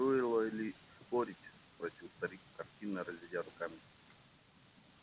и стоило ли спорить спросил старик картинно разведя руками